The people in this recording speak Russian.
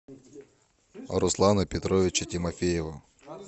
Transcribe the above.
руслана петровича тимофеева